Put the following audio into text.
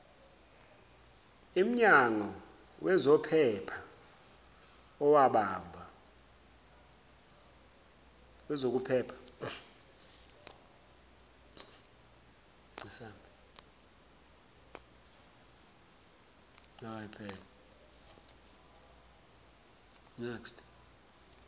imnyango wezokuphepha owabamba